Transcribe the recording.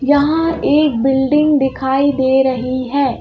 यहां एक बिल्डिंग दिखाई दे रही है।